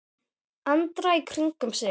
Andra í kringum sig.